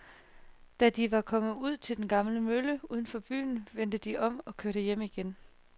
Da de var kommet ud til den gamle mølle uden for byen, vendte de om og kørte hjem igen.